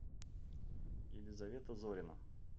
елизавета зорина